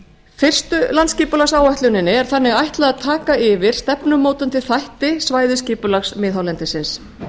fyrstu landsskipulagsáætluninni er þannig ætlað að taka yfir stefnumótandi þætti svæðisskipulags miðhálendisins